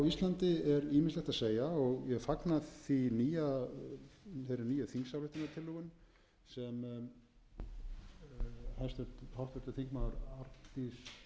íslandi er ýmislegt að segja og ég fagna þeirri nýju þingsályktunartillögu sem háttvirtur þingmaður arndís soffía hefur